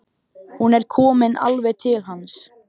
Hún er komin alveg til hans.